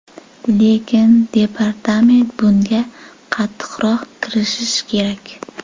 Lekin departament bunga qattiqroq kirishishi kerak.